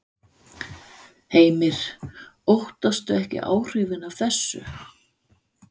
Heimir: Óttast þú ekki áhrifin af þessu?